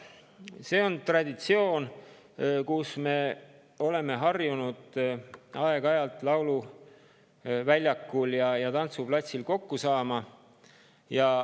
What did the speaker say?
See on traditsioon, me oleme harjunud aeg-ajalt lauluväljakul ja tantsuplatsil kokku saama.